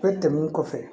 O tɛmɛnen kɔfɛ